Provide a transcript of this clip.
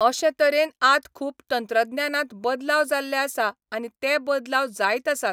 अशें तरेन आत खूब तंत्रज्ञानांत बदलाव जाल्ले आसा आनी ते बदलाव जायत आसात